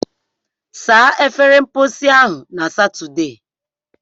Saa efere mposi ahụ na Satọde!